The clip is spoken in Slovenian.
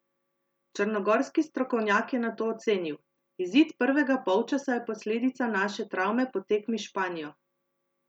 Črnogorski strokovnjak je nato ocenil: "Izid prvega polčasa je posledica naše travme po tekmi s Španijo.